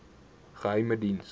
geheimediens